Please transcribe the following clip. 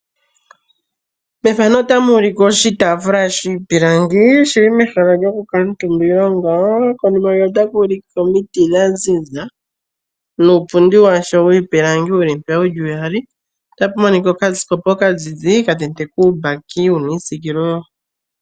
Mefano otamu ulikwa oshitaafula shiipilangi, shili mehala lyoku kala omutumba ,konima otaku ulike omiti dha ziza nuupundi washo wiipilangi wuli mpeya wuli uyali. Otapu monika okasikopa okazizi ka tendekwa uumbaki wuna iisikilo.